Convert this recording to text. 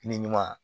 Ni ɲuman